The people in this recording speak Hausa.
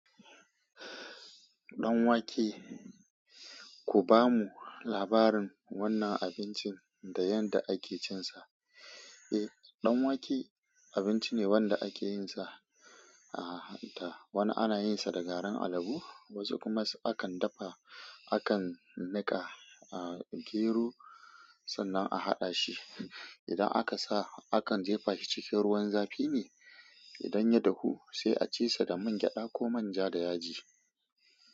Danwake, ku bamu labarin wannan abincin da yadda ake cinsa. Eh, danwake abinci ne wanda ake yinsa a hanta. Wani ana yinsa da garin alabu, wasu kuma akan dafa, akan nika a gero, sannan a haɗa shi. Idan aka sa, akan jefa shi cikin ruwan zafi ne. Idan ya dahu sai a ci sa da man gyada ko manja da yaji.